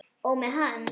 Og með hann.